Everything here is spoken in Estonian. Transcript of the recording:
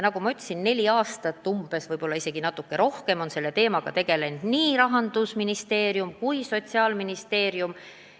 Nagu ma ütlesin, umbes neli aastat või vahest isegi natuke rohkem on selle teemaga tegelnud nii Rahandusministeerium kui ka Sotsiaalministeerium.